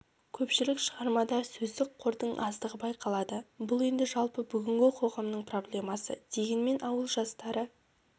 көпшілік шығармада сөздік қордың аздығы байқалады бұл енді жалпы бүгінгі қоғамның проблеммасы дегенмен ауыл жастары